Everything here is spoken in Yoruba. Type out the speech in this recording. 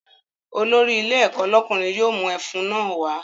Olórí ilé ẹ̀kọ́ lọ́kùnrin yóò mú ẹfun náà wá